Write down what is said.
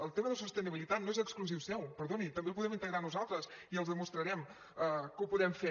el tema de sostenibilitat no és exclusiu seu perdoni també el podem integrar nosaltres i els demostrarem que ho podem fer